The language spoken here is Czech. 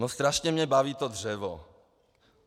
No strašně mě baví to dřevo.